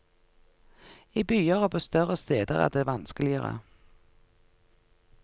I byer og på større steder er det vanskeligere.